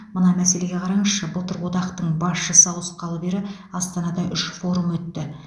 мына мәселеге қараңызшы былтыр одақтың басшысы ауысқалы бері астанада үш форум өтті